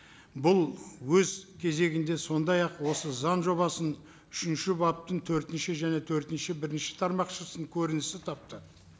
бұл өз кезегінде сондай ақ осы заң жобасының үшінші баптың төртінші және төртінші бірінші тармақшасының көрінісі тапты